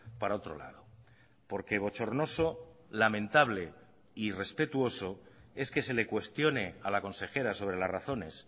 para otro lado porque bochornoso lamentable e irrespetuoso es que se le cuestione a la consejera sobre las razones